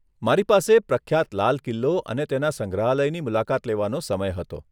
મારી પાસે પ્રખ્યાત લાલ કિલ્લો અને તેના સંગ્રહાલયની મુલાકાત લેવાનો સમય હતો.